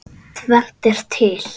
Tvennt er til.